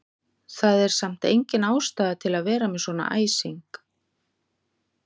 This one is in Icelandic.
Það er samt engin ástæða til að vera með svona æsing!